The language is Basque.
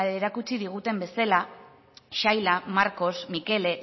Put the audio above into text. erakutsi diguten bezala saila marcos mikele